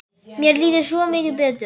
Mér líður svo mikið betur.